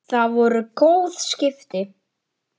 Það voru góð skipti.